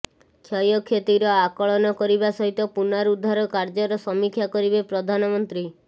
କ୍ଷୟକ୍ଷତିର ଆକଳନ କରିବା ସହିତ ପୁନଃରୁଦ୍ଧାର କାର୍ଯ୍ୟର ସମୀକ୍ଷା କରିବେ ପ୍ରଧାନମନ୍ତ୍ରୀ